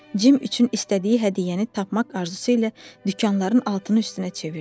Cim üçün istədiyi hədiyyəni tapmaq arzusu ilə dükanların altını üstünə çevirdi.